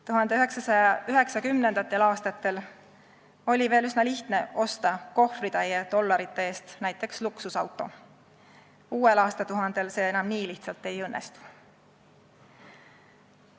1990. aastatel oli veel üsna lihtne osta kohvritäie dollarite eest näiteks luksusauto, uuel aastatuhandel see enam nii lihtsalt ei õnnestu.